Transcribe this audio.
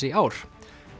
í ár